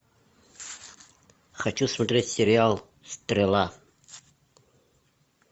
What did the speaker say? хочу смотреть сериал стрела